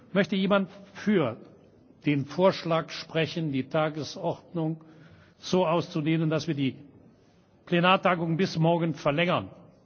Möchte jemand für den Vorschlag sprechen, die Tagesordnung so auszudehnen, dass wir die Plenartagung bis morgen verlängern?